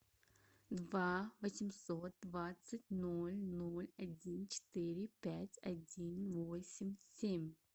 два восемьсот двадцать ноль ноль один четыре пять один восемь семь